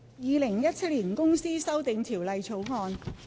《2017年公司條例草案》。